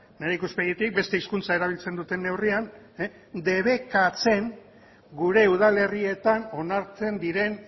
nire ikuspegitik beste hizkuntza erabiltzen duten neurrian debekatzen gure udalerrietan onartzen diren